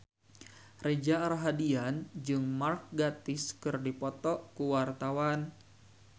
Reza Rahardian jeung Mark Gatiss keur dipoto ku wartawan